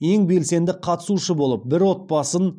ең белсенді қатысушы болып бір отбасын